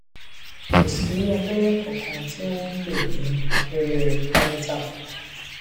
kò sí abẹrẹ kankan tí wọn pè ní abẹrẹ pareital